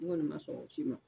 N kɔni ma sɔn o si ma